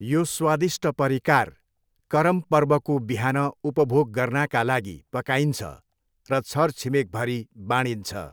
यो स्वादिष्ट परिकार करम पर्वको बिहान उपभोग गर्नाका लागि पकाइन्छ र छरछिमेकभरि बाँडिन्छ।